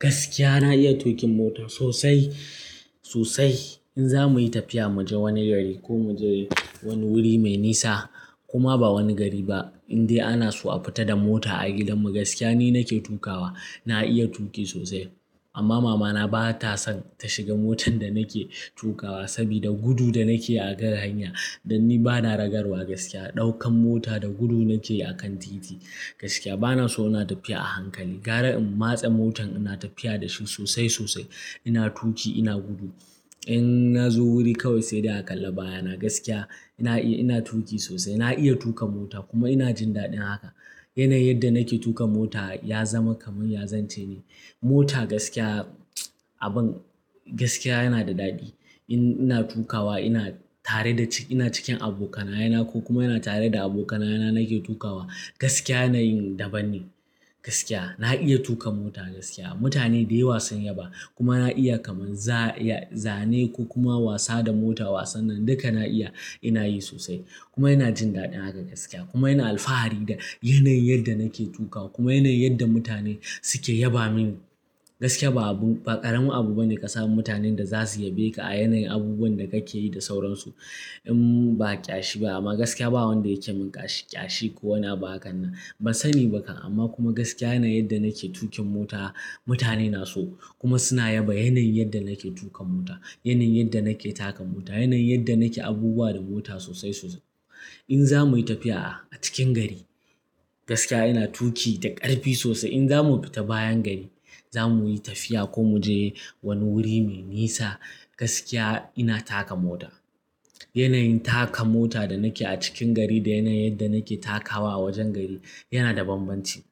Gaskiya na iya tuƙin mota sosai sosai. In za mu yi tafiya mu je wani gari ko mu je wani wuri mai nisa, koma ba wani gari ba, in dai ana so a fita da mota a gidanmu gaskiya ni nake tuƙawa. Na iya tuƙi sosai. Amma mamana ba ta son ta shiga motar da nake tuƙawa sabida gudu da nake a kan hanya. Dan ni ba na ragarwa gaskiya, ɗaukan mota da gudu na keyi a kan titi gaskiya. Ba na so ina tafiya a hankali, gara in matsa motar ina tafiya da shi sosai sosai. Ina tuƙi, ina gudu. In na zo wuri kawai sai dai a kalla baya na gaskiya. Ina tuƙi sosai, na iya tuƙa mota kuma ina jin daɗin haka. Yanayin yanda nake tuƙa mota ya zama kamar ya zance ne. Mota gaskiya, abin gaskiya yana da daɗi. In nilna tuƙawa ina tare da, ina cikin abokanaye na ko kuma ina tare da abokanaye na nake tuƙawa, gaskiya yanayin daban ne gaskiya. Na iya tuƙa mota gaskiya. Mutane da yawa sun yaba. Kuma na iya kamar zane ko kuma wasa da mota. Wasannin duka na iya, ina yi sosai kuma ina jin daɗin haka gaskiya. Kuma ina alfahari da yanayin yadlnda nake tuƙawa kuma yanayin yanda mutane suke yaba mini. Gaskiya ba abu, ba ƙaramin abu bane ka samu mutanen da zasu yabe ka a yanayin abubuwan da kake yi da sauransu in ba ƙyashi ba amma gaskiya ba wanda yake min ƙyashi ko wani abu hakan nan. Ban sani ba kan. Amma kuma gaskiya yanayin yanda nake tuƙin mota mutane na so, kuma suna yaba yanayin yanda nake tuƙa mota, yanayin yanda nake taka mota, yanayin yanda nake abubuwa da mota sosai sosai. In za mu yi tafiya a cikin gari gaskiya ina tuƙi da ƙarfi sosai. In za mu fita bayan gari, za mu yi tafiya ko mu je wani wuri mai nisa gaskiya ina taka mota. Yanayin taka mota da nake a cikin gari da yanayin yanda nake takawa a wajen gari yana da banbanci.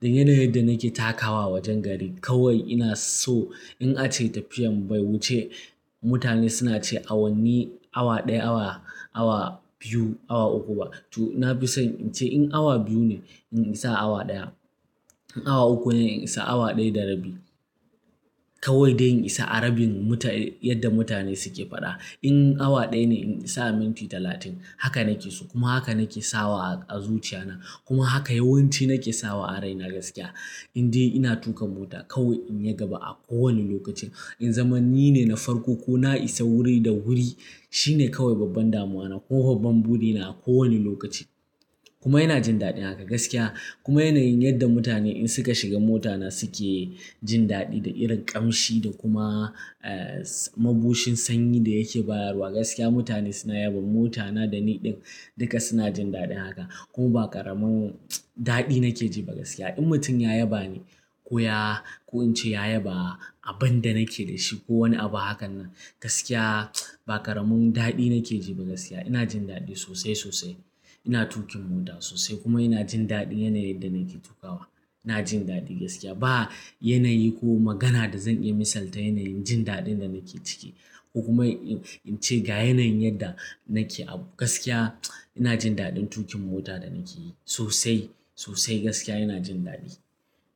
Dan yanayin yadlnda nake takawa a wajen gari kawai ina so in ace tafiyar bai wuce mutane suna ce awanni, awa ɗaya, awa, awa biyu, awa uku ba. To na fi son in ce in awa biyu ne, in isa awa ɗaya. In awa uku ne, in isa awa ɗaya da rabi. Kawai dai in isa a rabin yanda mutane suke faɗa. In awa ɗaya ne, in isa minti talatin. Haka nake so kuma haka nake sawa a zuciya na kuma haka yawanci nake sawa a raina gaskiya. Indai ina tuƙan mota kawai in yi gaba a kowane lokaci in zama ni ne na farko ko na isa guri da wuri shine kawai babban damuwana kuma babban buri na a kowane lokaci kuma ina jin daɗin haka gaskiya. Kuma yanayin yanda mutane in suka shiga mota na su ke jin daɗi da irin ƙamshi da kuma, eh, mabushin sanyi da yake bayarwa gaskiya mutane suna yabon mota na da ni ɗin. Duka suna jin daɗin haka kuma ba ƙaramin daɗi nake ji ba gaskiya. In mutum ya yaba ni ko ya, ko in ce ya yaba abin da nake da shi ko wani abu hakan nan, gaskiya ba ƙaramin daɗi nake ji ba gaskiya. Ina jin daɗi sosai sosai. Ina tuƙin mota sosai kuma ina jin daɗin yanayin yadda nake tukawa. Ina jin daɗi gaskiya. Ba yanayi ko magana da zan iya misalta yanayin jin daɗin da nake ciki ko kuma in ce ga yanayin yanda nake abu gaskiya ina jin daɗin tuƙin mota da nake yi sosai sosai gaskiya ina jin daɗi.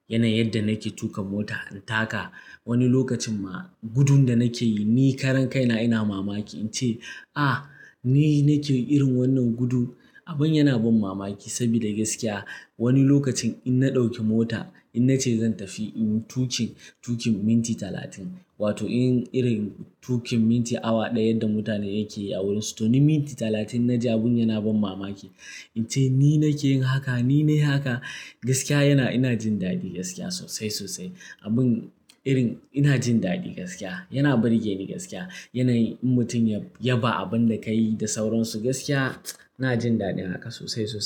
Yanayin yanda nake tuƙa mota, in taka wani lokacin ma gudun da nake yi ni karan kai na ina mamaki in ce, "Ah!, ni nake irin wannan gudun?" Abin yana ban mamaki sabida gaskiya wani lokacin in na ɗauki mota, in na ce zan tafi inyi tuƙi, tuƙin minti talatin wato in irin tuƙin minti awa ɗaya yanda mutane yake yi a wurinsu, to ni minti talatin na ji abin yana ban mamaki. In ce ni nake yin haka, ni nayi haka? Gaskiya yana, ina jin daɗi gaskiya sosai sosai. Abin irin ina jin daɗi gaskiya. Yana burge ni gaskiya. Yanayin in mutum ya yaba abinda ka yi da sauransu gaskiya ina jin daɗin haka sosai sosai.